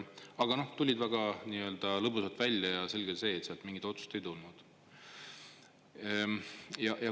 Aga nad tulid sealt väga lõbusalt välja ja selge oli see, et sealt mingit otsust ei tulnud.